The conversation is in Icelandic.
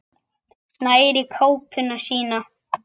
Nær í kápuna sína.